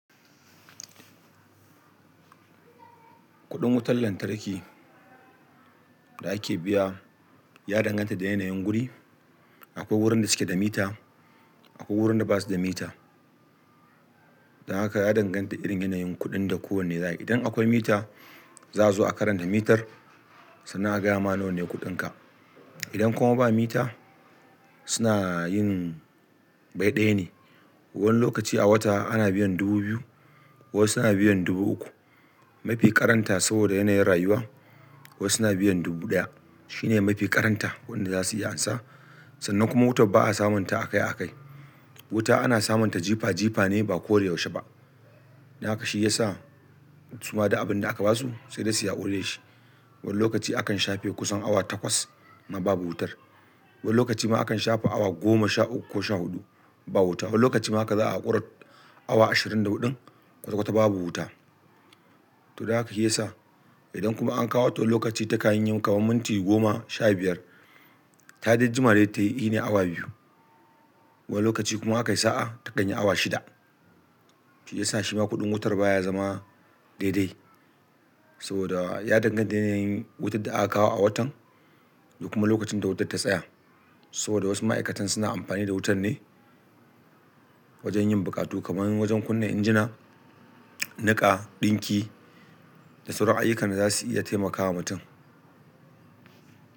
Kuɗin wutar lantarki da ake biya ya danganta da yanayin guri. Akwai wurin da suke da mita, akwai wurin da ba su da mita. Don haka ya danganta da irin yanayin kuɗin da kowane zai yi. Idan akwai mita za su zo a karanta mitar, sannan a gaya mana wane ne kuɗinka. Idan kuma ba mita suna yin bai ɗaya ne. Wani lokaci a wata ana biyan dubu biyu, wasu na biyan dubu uku. Mafi ƙaranta saboda yanayin rayuwa wasu na biyan dubu ɗaya. Shi ne mafi ƙaranta kudin da za su iya amsa. Sannan kuma wutar ba a samunta akai akai. Wuta ana samunta jifa jifa ne ba ko da yaushe ba. Don haka shi ya sa su ma da abin da aka ba su sai dai su yi haƙuri da shi. Wani lokaci akan shafe kusan awa takwas ma babu wutar. Wani lokaci ma akan shafe awa goma, sha uku ko sha huɗu ba wuta. Wani lokaci ma haka za a ƙorar awa ashirin da huɗun kwata kwata babu wuta. To, don haka shi ya sa idan kuma an kawo wall to lokaci ta kayan yin kamam mintin goma, sha biyar. Ta dai jima dai tayi ine awa biyu. Wani lokaci kuma aka yi sa'a ta ɗanyi awa shida. Shi ya sa shi ma kuɗin wutar baya zama daidai. Saboda ya danganta da yanayin wutar da aka kawo a watan da kuma lokacin da wutar ta tsaya. Saboda wasu ma'aikatan suna amfani da wutar ne wajen yin buƙatu kamar wajen kunna injina, niƙa, ɗinki da sauran ayyukan da za su iya taimakama mutum.